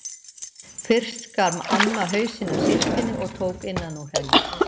Fyrst skar amma hausinn af síldinni og tók innan úr henni.